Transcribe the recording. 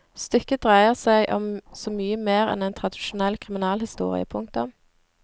Stykket dreier seg om så mye mer enn en tradisjonell kriminalhistorie. punktum